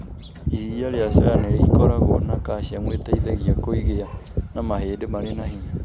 Iria rĩa soya nĩ ikoragwo na calcium ĩteithagia kũgĩa na mahĩndĩ marĩ na hinya.